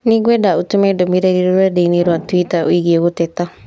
Nĩngwenda ũtũme ndũmĩrĩri rũrenda-inī rũa tũita ĩgiĩ gũteta